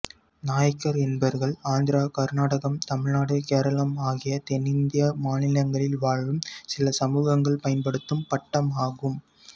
நாயக்கர் என்பவர்கள் ஆந்திரா கருநாடகம் தமிழ்நாடு கேரளம் ஆகிய தென்னிந்திய மாநிலங்களில் வாழும் சில சமூகங்கள் பயன்படுத்தும் பட்டம் ஆகும்